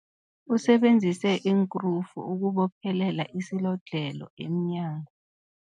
Usebenzise iinkrufu ukubophelela isilodlhelo emnyango.